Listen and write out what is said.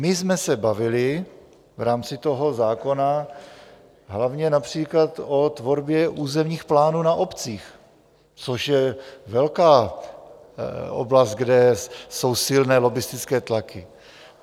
My jsme se bavili v rámci toho zákona hlavně například o tvorbě územních plánů na obcích, což je velká oblast, kde jsou silné lobbistické tlaky.